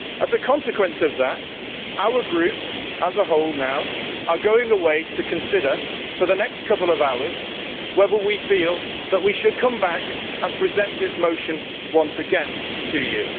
As a consequence of that our group, as a whole now, are going away to consider for the next couple of hours whether we feel that we should come back and present this motion once again to you.